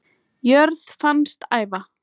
jörð fannst æva